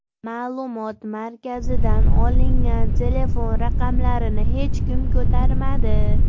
Ma’lumot markazidan olgan telefon raqamlarini hech kim ko‘tarmadi.